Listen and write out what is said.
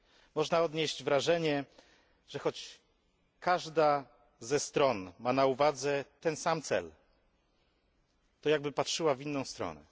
Można odnieść wrażenie, że choć każda ze stron ma na uwadze ten sam cel, to jakby patrzyła w inną stronę.